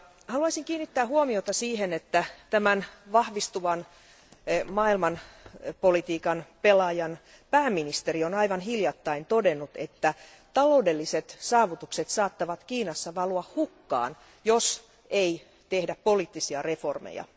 Haluaisin kiinnittää huomiota siihen, että tämän vahvistuvan maailmanpolitiikan pelaajan pääministeri on aivan hiljattain todennut, että taloudelliset saavutukset saattavat Kiinassa valua hukkaan, jos ei tehdä poliittisia reformeja.